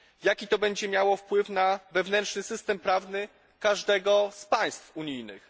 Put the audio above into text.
Jaki to będzie miało wpływ na wewnętrzny system prawny każdego z państw unijnych?